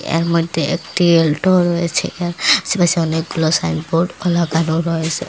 এর মইধ্যে একটি অলটো রয়েছে এবং আশেপাশে অনেকগুলা সাইন বোর্ডও লাগানো রয়েসে।